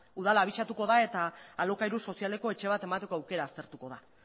udala abisatuko da eta alokairu sozialeko etxe bat emateko aukera aztertuko da